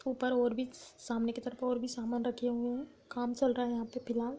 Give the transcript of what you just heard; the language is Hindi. ऊपर और भी सामने की तरफ और भी सामान रखे हुए हैं | काम चल रहा है यहाँ पे फिलाल |